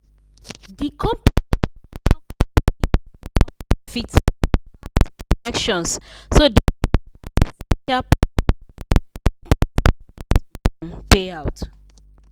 di company annual company annual profit pass projections so dem trigger essential performance-based bonus um payout.